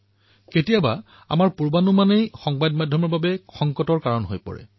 কেতিয়াবা কেতিয়াবা আমাৰ পুৰ্বাগ্ৰহেই সংবাদৰ বাবে সকলোতকৈ ডাঙৰ সংকট হৈ পৰে